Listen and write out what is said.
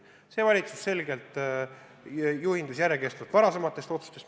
See valitsus juhindus järjekestvalt varasematest otsustest.